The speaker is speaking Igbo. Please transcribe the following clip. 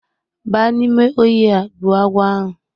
Ba n'ime ohia gbuo agwo ahu